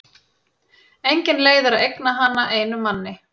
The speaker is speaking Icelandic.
Engin leið er að eigna hana einum manni.